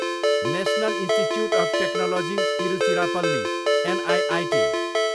national institute of technology Tiruchirappalli, NIIT